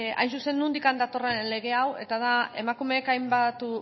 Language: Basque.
hain zuzen nondik datorren lege hau eta da emakumeek hainbat